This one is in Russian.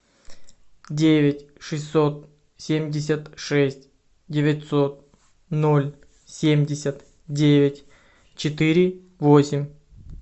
девять шестьсот семьдесят шесть девятьсот ноль семьдесят девять четыре восемь